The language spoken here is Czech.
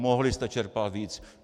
Mohli jste čerpat víc!